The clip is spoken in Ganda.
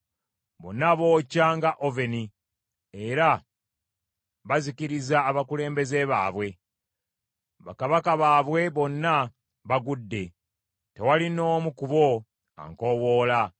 Bonna bookya nga oveni, era bazikiriza abakulembeze baabwe. Bakabaka baabwe bonna bagudde; tewali n’omu ku bo ankowoola.